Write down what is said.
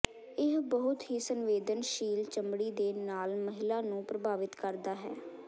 ਇਹ ਬਹੁਤ ਹੀ ਸੰਵੇਦਨਸ਼ੀਲ ਚਮੜੀ ਦੇ ਨਾਲ ਮਹਿਲਾ ਨੂੰ ਪ੍ਰਭਾਵਿਤ ਕਰਦਾ ਹੈ